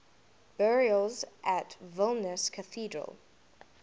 burials at vilnius cathedral